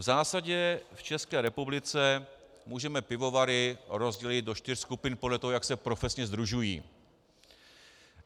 V zásadě v České republice můžeme pivovary rozdělit do čtyř skupiny podle toho, jak se profesně sdružují.